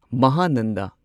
ꯃꯍꯥꯅꯟꯗ